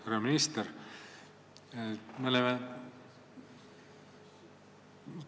Härra minister!